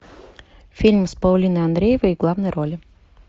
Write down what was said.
фильм с паулиной андреевой в главной роли